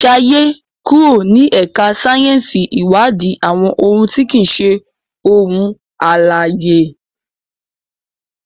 Jaye kúrò ní ẹka sáyẹnsì iwadi àwọn òun ti kii ṣe ohun alãye.